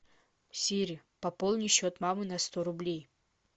сири пополни счет мамы на сто рублей